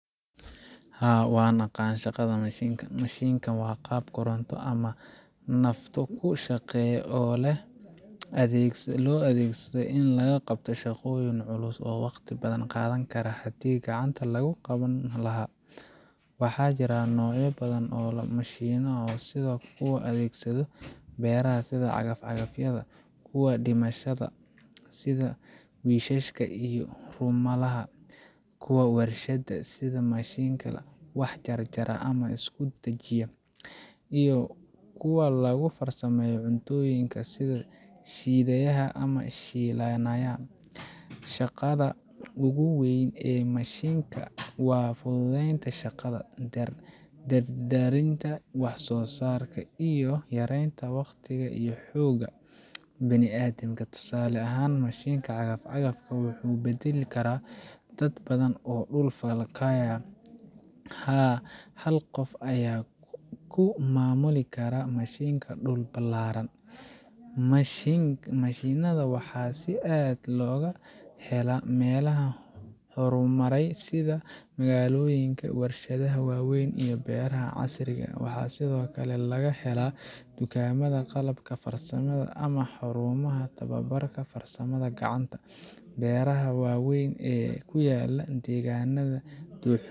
Haa, waan aqaan shaqada mashiinka. Mashiinka waa qalab koronto ama naafto ku shaqeeya oo loo adeegsado in lagu qabto shaqooyin culus ama waqti badan qaadan lahaa haddii gacanta lagu qaban lahaa. Waxaa jira noocyo badan oo mashiinno ah sida kuwa loo adeegsado beeraha sida cagaf-cagafyada, kuwa dhismaha sida wiishashka iyo rumbalaha, kuwa warshadaha sida mashiinada wax jarjarta ama isku dhajiya, iyo kuwa lagu farsameeyo cuntooyinka sida shiidiyaha ama shiilanayaal. Shaqada ugu weyn ee mashiinka waa fududeynta shaqada, dardargelinta wax soo saarka, iyo yareynta waqtiga iyo xoogga bini'aadamka. Tusaale ahaan, mashiinka cagaf-cagafka wuxuu beddeli karaa dad badan oo dhul falkaya; hal qof ayaa ku maamuli kara mashiinka dhul ballaaran. Mashiinnada waxaa si aad ah looga helaa meelaha horumaray sida magaalooyinka, warshadaha waaweyn, iyo beeraha casriga ah. Waxaa sidoo kale laga helaa dukaamada qalabka farsamada ama xarumaha tababarka farsamada gacanta. Beeraha waaweyn ee ku yaalla deegaannada